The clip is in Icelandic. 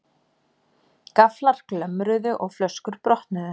Gafflar glömruðu og flöskur brotnuðu.